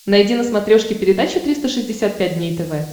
найди на смотрешке передачу триста шестьдесят пять дней тв